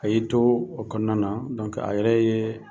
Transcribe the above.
A y'i to o kɔnɔna na a yɛrɛ ye